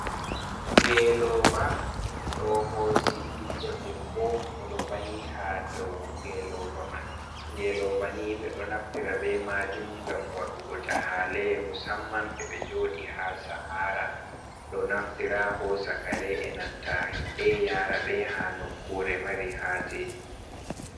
"Ngelova" ɗo hosi ɓiɗɗo debbo oɗo vahi ha dou ngelova man ngelova ni ɓeɗo naftira ɓe majum ngam waɗugo jahale musamman ɓe joɗi ha sahara do naftira ha hosugo kare enanta himɓe yara be ha nokkure mari ha je.